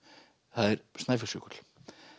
það er Snæfellsjökull